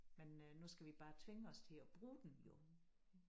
Men øh nu skal vi bare tvinge os til at bruge den jo